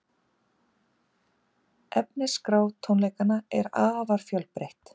Efnisskrá tónleikanna er afar fjölbreytt